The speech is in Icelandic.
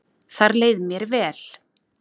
Þar leið mér vel